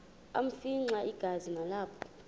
afimxa igazi nalapho